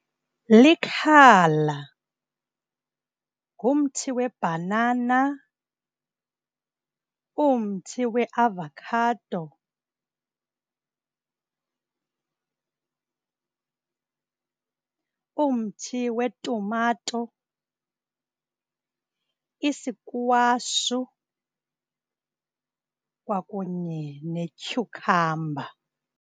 Likhala, ngumthi webhanana, umthi weavakhado, umthi wetumato, isikwashu kwakunye nethyukhamba.